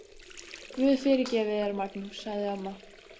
Guð fyrirgefi þér, Magnús, sagði amma.